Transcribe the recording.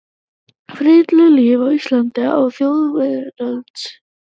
Frillulífi á Íslandi á þjóðveldisöld.